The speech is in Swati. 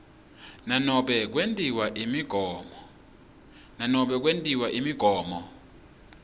nanobe kwetiwe imigomo